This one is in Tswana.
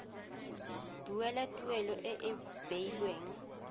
duela tuelo e e beilweng